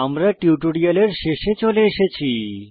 আমরা টিউটোরিয়ালের শেষে চলে এসেছি